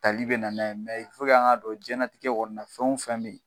Tali be na n'a ye . an ka dɔn jiɲɛnatigɛ kɔni na fɛn wo fɛn be yen